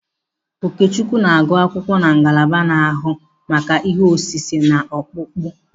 Okechukwu na-agụ akwụkwọ na ngalaba na-ahụ maka ihe osise na ọkpụkpụ.